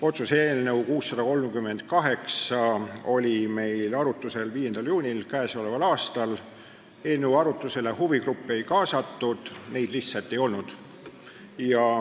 Otsuse eelnõu 638 oli meil arutlusel 5. juunil k.a. Eelnõu arutelule huvigruppe ei kaasatud, sest neid lihtsalt ei olnud.